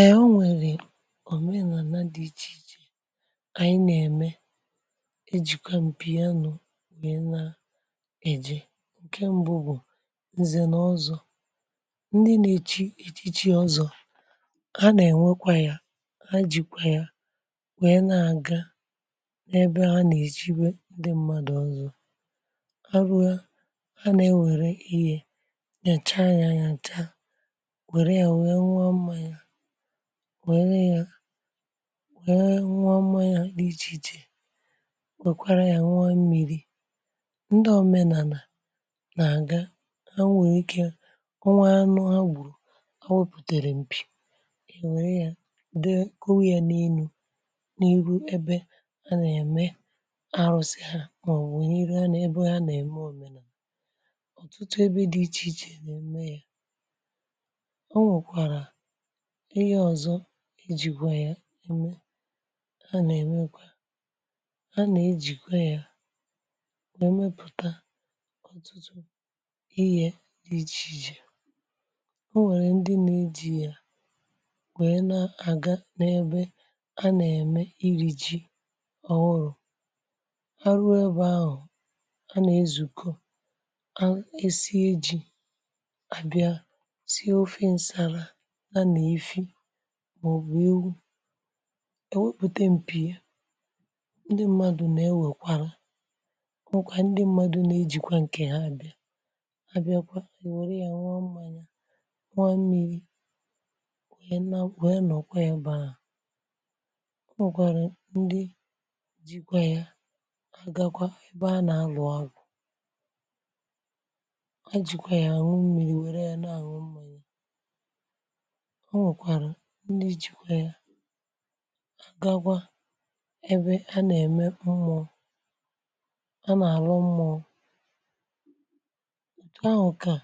Èe Ọ̀nwere ọ mee n’ànà dị̀ ichè ichè ànyị nà-ème e jìkwa m̀pì anụ̀ nà-èji. ǹke m̀bụ bụ̀ ǹzènọ̀zọ̀, ndị nà-èji iche iche ọzọ̀ a nà-ènwekwa yȧ ha jìkwa ya wèe na-àga n’ebe ha nà-èjiwe ndị mmadụ̀ ọzọ̀, ha rụ̀a ha nà-ewère wèe cha nyanyà taa nwee nee ya nwee nwụọ mmaya, wèrụ ya nwụọ mmanyà dị ịche ịche ya n’iji je nwekwara ya nwa mmi̇ri. ndị òmenànà nà-àga ha nwèrè ike onwa anụ ha gbùrù ha wepùtèrè m̀pì è nwèe ya de kowịa n’elu n’ihu ebe a nà-ème arụ̀sị ha, a nwèe ihe a nà-ebe a nà-ème òmenàlà, Ọ̀tụtụ ebe dị ichè ichè a nà-ème ya. ọnwekwara ịhe ọzọ ijikwa ya eme, ha nà-èmekwa ha nà-ejìkwa ya nà-èmepụ̀ta ọ̀tụtụ ihė dị ichè ichè, o nwèrè ndị na-edia màyà na-àga n’ebe ha nà-ème iri̇ ji ọ̀ nụrụ̇, ha ruo ọbụ ahụ̀ a nà-ezùko a esi ejì àbịa si ofe ǹsàrà nye na efị màọ̀bụ̀ ewu̇, è wepùte m̀pì ya, ndị mmadụ̀ nà-ewèkwàrà, ọ nwụ̀kwà ndị mmadụ̀ nà-ejìkwa ǹkè ha dị̀, ha bịa kwa è wère ya nwụọ mmȧnya nwa mmi̇ri̇ wèe na ọ nọ̀kwa ya ebė ahụ̀. Ọ nwụ̀kwàrà ndị jìkwa ya àgagwa ebe a nà-àlụ agwụ̀, ha jìkwa ya ànwụ mmiri̇, wère ya na-àhụ mmȧnyị̇. Ọ nwekwà ndị jikwe ya agagwa ebe a nà-ème umùo a nà-àrụ umùo. etu ahụ̀ ka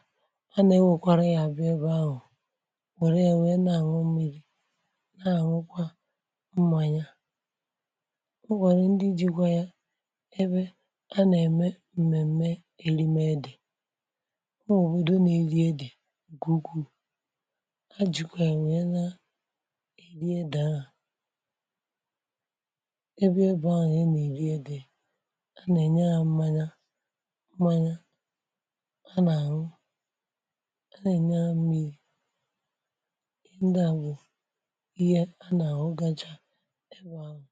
a nà ewekwara ya bịa ebe ahụ̀, wère enwe na-àrụ mmiri̇ na-àrụkwa mmanya. o nwèrè ndi ji̇kwa ya ebe a nà-ème m̀mèm̀me èrime dị̀, o nwèrè òbòdo nà-eri̇ e dị̀ gùgù ebe ebe ahụ̀ nà-enè ànyị nye a mmanya mmanya a nà-àhụ, a nà-ènye amị̇yị ị, ndị à bụ̀ ihe a nà-àhụ gȧjà ebe ȧhụ̇.